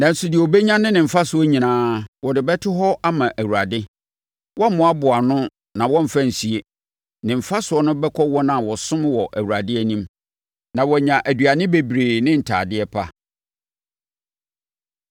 Nanso, deɛ ɔbɛnya ne ne mfasoɔ nyinaa, wɔde bɛto hɔ ama Awurade; wɔremmoaboa ano na wɔremfa nsie. Ne mfasoɔ no bɛkɔ wɔn a wɔsom wɔ Awurade anim, na wɔanya aduane bebree ne ntadeɛ pa.